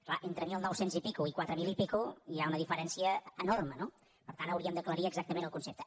és clar entre mil nou cents i escaig i quatre mil i escaig hi ha una diferència enorme no per tant hauríem d’aclarir exactament el concepte